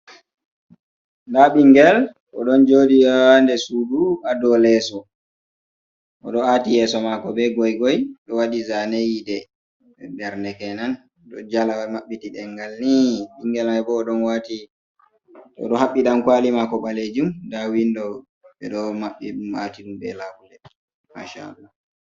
Nda ɓingel oɗon joɗi ha nder Sudu ha do leeso. oɗo aati yeso mako be goigoi ɗo wadi zane yidee ndarde kenan, ɗo jala wai mabɓiti dengal ni bingel mai bo oɗo wati oɗo habɓi dankwali mako ɓalejum. Nda windo ɓe ɗo mabɓi matiɗum be labule masha Allah.